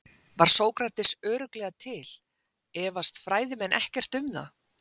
Var Sókrates örugglega til, efast fræðimenn ekkert um það?